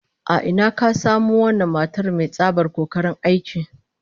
A ina aka samo wannan matar mai tsabar kokarin aiki?